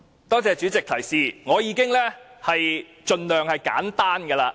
多謝主席的提示，我已經盡量說得簡單的了。